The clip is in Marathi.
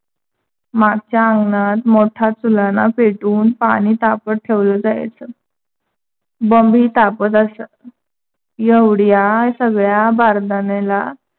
माघच्या अंगणात मोठा चुलणा पेटवून पानी तापत ठेवल जायचं. बंब ही तापत असत. एवढ्या सगळ्या बारदण्याला